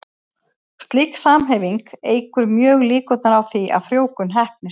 Slík samhæfing eykur mjög líkurnar á því að frjóvgun heppnist.